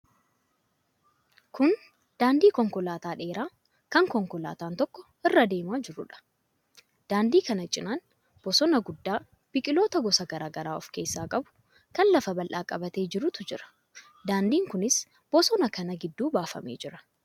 Kun daandii konkolaataa dheeraa kan konkolaataan tokko irra deemaa jiruudha. Daandii kana cinaan bosona guddaa, biqiloota gosa garaa garaa of keessaa qabu, kan lafa bal'aa qabatee jirutu jira. Daandiin kunis bosona kana gidduu baafamee jira.